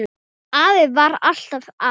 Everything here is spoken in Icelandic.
Afi var alltaf að.